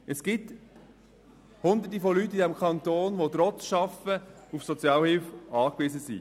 Es gibt Hunderte Menschen in diesem Kanton, die arbeiten und trotzdem auf Sozialhilfe angewiesen sind.